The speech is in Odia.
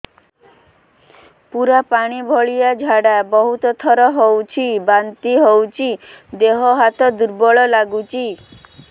ପୁରା ପାଣି ଭଳିଆ ଝାଡା ବହୁତ ଥର ହଉଛି ବାନ୍ତି ହଉଚି ଦେହ ହାତ ଦୁର୍ବଳ ଲାଗୁଚି